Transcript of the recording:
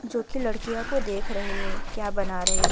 जो कि लड़किया को देख रहे है क्या बना रहे है व --